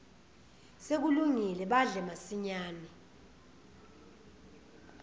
sekulungile badle masinyane